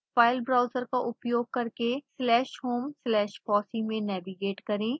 file browser का उपयोग करके slashhomeslashfossee में नेविगेट करें